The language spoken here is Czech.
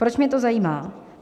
Proč mě to zajímá?